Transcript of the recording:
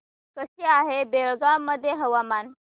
कसे आहे बेळगाव मध्ये हवामान